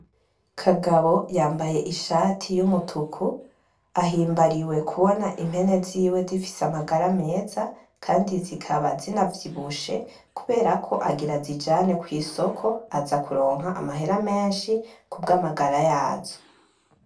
Kagabo yambaye ishati y’umutuku ahimbariwe kubona impene ziwe zifise amagara meza kandi zikaba zinavyibushe kuberako agira azijane kwisoko azakuronka amahera meshi kubwa magara yazo.